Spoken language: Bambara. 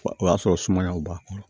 O y'a sɔrɔ sumayaw b'a kɔrɔ